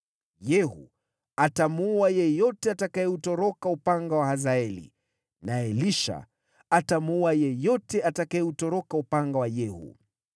Yehu atamuua yeyote atakayeutoroka upanga wa Hazaeli, naye Elisha atamuua yeyote atakayeutoroka upanga wa Yehu.